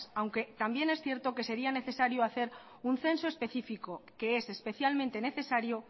aunque también es cierto que sería necesario hacer un censo específico que es especialmente necesario